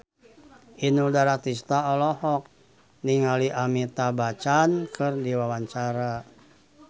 Inul Daratista olohok ningali Amitabh Bachchan keur diwawancara